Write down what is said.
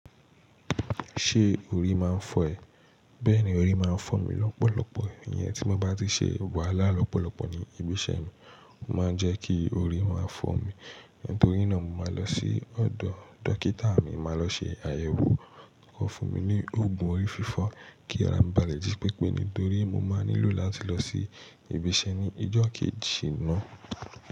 Ṣé orí máa ń fọ́ ẹ? Bẹ́ẹ̀ni orí máa ń fọ́ mi lọ́pọ̀lọpọ̀, ìyẹn tí mo bá ti ṣe wàhálà lọ́pọ̀lọpọ̀ ní ibi iṣẹ́ mi. Ó máa ń jẹ́ kí orí máa fọ́ mi, nítorí náà mo máa lọ sí ọ̀dọ̀ dókítà mi, n máa lọ ṣe àyẹ̀wò, kó fún mi ní òògùn orí fífọ́ kí ara mí ba lè jí pépé nítorí mo máa nílò láti lọ sí ibi iṣẹ́ ní ijọ́ kejì ná.